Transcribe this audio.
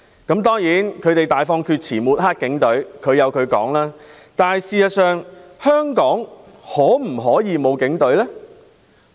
他們大放厥辭針對警隊，但事實上，香港可否沒有警隊？